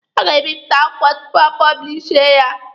A ga-ebipụta akwụkwọ tupu a pọblishie ya.